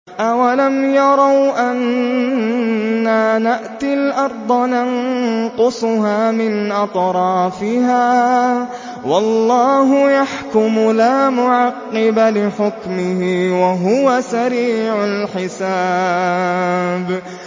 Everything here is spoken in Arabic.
أَوَلَمْ يَرَوْا أَنَّا نَأْتِي الْأَرْضَ نَنقُصُهَا مِنْ أَطْرَافِهَا ۚ وَاللَّهُ يَحْكُمُ لَا مُعَقِّبَ لِحُكْمِهِ ۚ وَهُوَ سَرِيعُ الْحِسَابِ